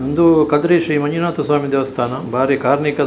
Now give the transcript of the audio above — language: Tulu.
ಉಂದು ಕದ್ರಿ ಶ್ರೀ ಮಂಜುನಾಥ ಸ್ವಾಮಿ ದೇವಸ್ಥಾನ ಬಾರಿ ಕಾರ್ಣಿಕ --